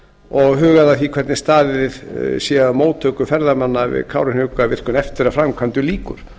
og hugað að því hvernig staðið sé að móttöku ferðamanna við kárahnjúkavirkjun eftir að framkvæmdum lýkur